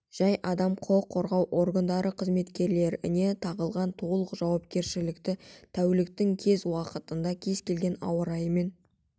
жай адам құқық қорғау органдары қызметкерлеріне тағылған толық жауапкершілікті тәуліктің кез уақытында кез келген ауа-райымен